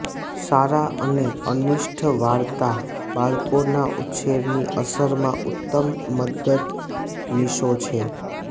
સારા અને અનિષ્ટ વાર્તા બાળકોના ઉછેરની અસર માં ઉત્તમ મદદનીશો છે